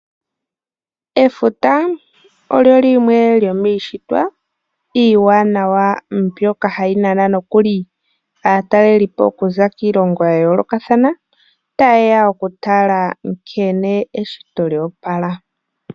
Efuta olyo limwe lyomiishitwa iiwanawa mbyoka hayi nana nokuli aataleli po okuza kiilongo yayoolokathana taye ya okutala nkene eshito lyoopala.